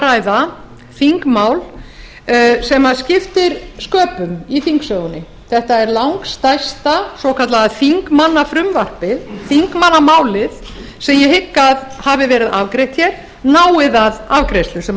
ræða þingmál sem skiptir sköpum í þingsögunni þetta er langstærsta svokallaða þingmannafrumvarpið þingmannamálið sem ég hygg að hafi verið afgreitt hér nái það afgreiðslu sem